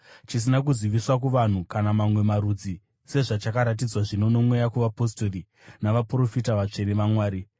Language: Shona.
chisina kuziviswa kuvanhu kana mamwe marudzi sezvachakaratidzwa zvino noMweya kuvapostori navaprofita vatsvene vaMwari.